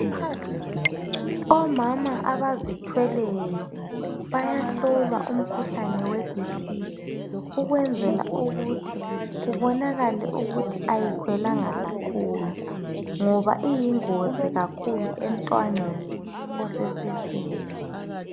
omama abazothweleyo bayahlolwa umkhuhlane we BP ukwenzela ukuthi kubonakale ukuthi ayikhwelanga kakhulu ngoba iyingozi kakhulu emntwaneni osesiswini